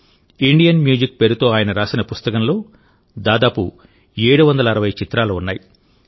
Indian music పేరుతో ఆయన రాసిన పుస్తకంలో దాదాపు 760 చిత్రాలు ఉన్నాయి